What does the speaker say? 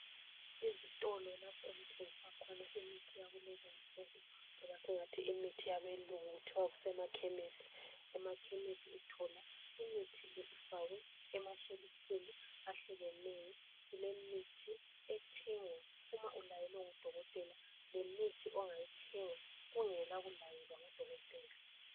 Ezitolo lapho okuthengiswa khona imithi yakulezinsuku loba singathi imithi yabelungu lasemakhemisi uthola imithi le ifakwe emashelufini ahlukeneyo kulemithi ethengwa uma ulayelwe ngudokotela lemithi ongayithenga kungela kulayelwa ngudokotela.